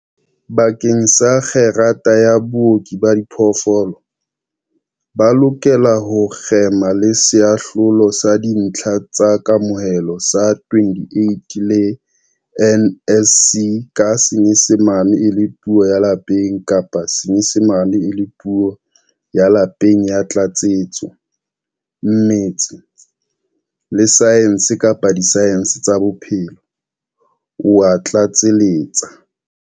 Bakeng sa kgerata ya Booki ba Diphoofolo, ba lokela ho kgema le Seahlolo sa Dintlha tsa Kamohelo sa 28 le NSC ka Senyesemane e le Puo ya Lapeng kapa Senyesemane e le Puo ya Pele ya Tlatsetso, mmetse, le saense kapa disaense tsa bophelo, o a tlatseletsa.